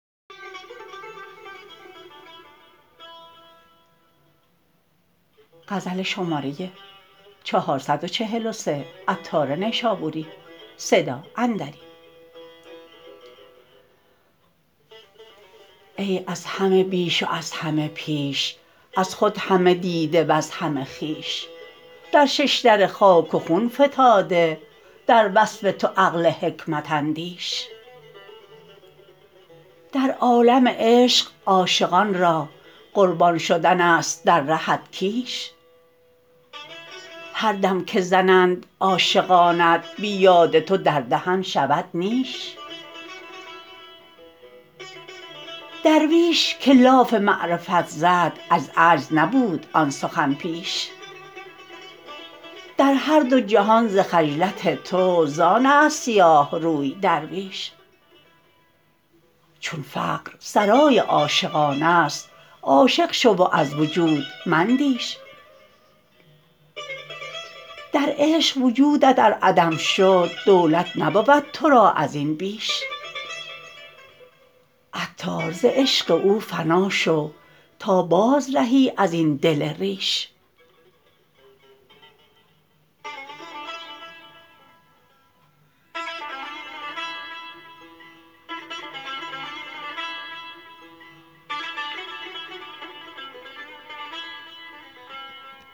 ای از همه بیش و از همه پیش از خود همه دیده وز همه خویش در ششدر خاک و خون فتاده در وصف تو عقل حکمت اندیش در عالم عشق عاشقان را قربان شدن است در رهت کیش هر دم که زنند عاشقانت بی یاد تو در دهن شود نیش درویش که لاف معرفت زد از عجز نبود آن سخن پیش در هر دو جهان ز خجلت تو زآن است سیاه روی درویش چون فقر سرای عاشقان است عاشق شو و از وجود مندیش در عشق وجودت ار عدم شد دولت نبود تو را ازین بیش عطار ز عشق او فنا شو تا باز رهی ازین دل ریش